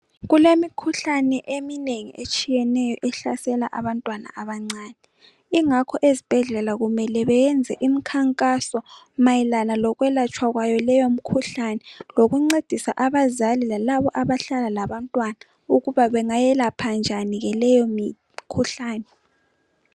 Kulemikhuhlane eminengi etshiyeneyo ehlasela abantwana abancane ingakho ezibhedlela kumele beyenze imkhankaso mayelana lokwelatshwa kwayo leyo mikhuhlane, lokuncedisa abazali lalabo abahlala labantwana ukuba bangayelapha njani ke leyo mikhuhlane.